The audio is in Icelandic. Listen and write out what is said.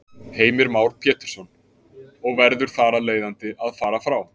Heimir Már Pétursson: Og verður þar af leiðandi að fara frá?